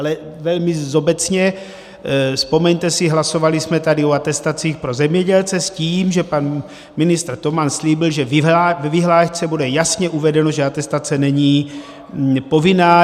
Ale velmi obecně, vzpomeňte si, hlasovali jsme tady o atestacích pro zemědělce s tím, že pan ministr Toman slíbil, že ve vyhlášce bude jasně uvedeno, že atestace není povinná.